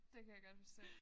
Det kan jeg godt forstå